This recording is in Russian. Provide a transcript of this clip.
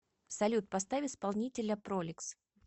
салют поставь исполнителя проликс